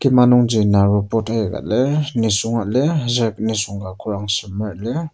Kima nungji naro pot aika lir nisunga lir aser nisung ka korang semer lirK.